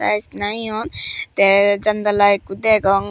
tiles na hi hon te jandala ekko degong.